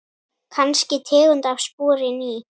Kannski tegund af spori ný.